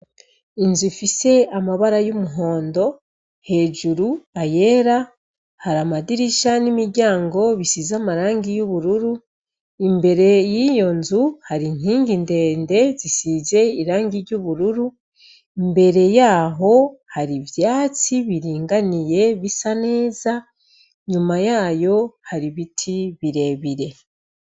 Inzu ifise amabara y'umuhondo, hejuru ayera, har'amadirisha n'imiryango bisize amangi y'ubururu, imbere yiyo nzu har'inkingi ndende zisize irangi ry'ubururu, imbere yaho har'ivyatsi biringaniye bisa neza, inyuma yayo har'ibiti birebire.